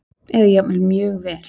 Eða jafnvel mjög vel.